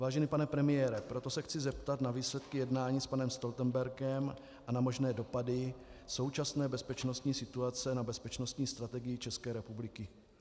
Vážený pane premiére, proto se chci zeptat na výsledky jednání s panem Stoltenbergem a na možné dopady současné bezpečnostní situace na bezpečnostní strategii České republiky.